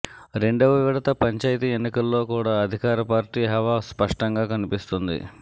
రెండవ విడత పంచాయితీ ఎన్నికల్లో కూడా అధికారపార్టీ హవా స్పష్టంగా కన్పిస్తోంది